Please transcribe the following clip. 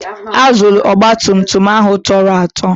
Azụlụ ogbatumtum ahụ tọrọ atọ.